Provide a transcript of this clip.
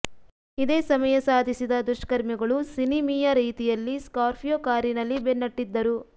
ಇದೇ ಸಮಯ ಸಾಧಿಸಿದ ದುಷ್ಕರ್ಮಿಗಳು ಸಿನಿಮೀಯ ರೀತಿಯಲ್ಲಿ ಸ್ಕಾರ್ಪಿಯೋ ಕಾರಿನಲ್ಲಿ ಬೆನ್ನಟ್ಟಿದ್ದರು